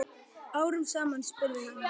Árum saman? spurði hann.